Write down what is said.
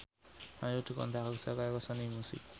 Ayu dikontrak kerja karo Sony Music